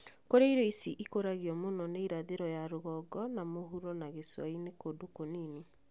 Kũrĩa irio ici ikũragio mũno ni irathĩro ya rũgongo na mũhuro na gĩcua-inĩ kundũ kũnini